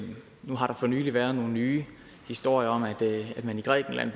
nu har der for nylig været nogle nye historier om at man i grækenland